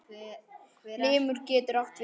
Limur getur átt við